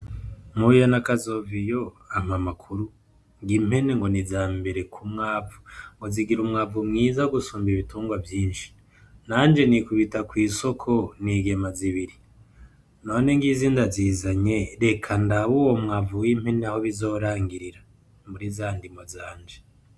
Mpuye na kazoviyo ampa amakuru, ng'impene ngo ni izambere kumwavu ngo zigira umwavu mwiza gusumba ibitungwa vyinshi nanje nikubita kwisoko nigema zibiri none ngizi ndazizanye reka ndabe uwo mwavu w'impene aho bizorangirira muri za ndimo zanje.